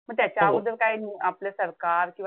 म त्याच्या अगोदर काय आपलं सरकार किंवा,